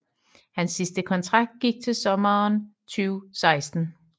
Hans sidste kontrakt gik til sommeren 2018